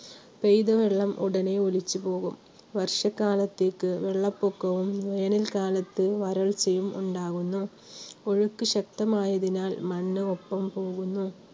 പെയ്ത വെള്ളം ഉടനെ ഒലിച്ചുപോകും. വർഷ കാലത്തേക്ക് വെള്ളപ്പൊക്കവും വേനൽക്കാലത്ത് വരൾച്ചയും ഉണ്ടാകുന്നു. ഒഴുക്ക് ശക്തമായതിനാൽ മണ്ണും ഒപ്പം പോകുന്നു.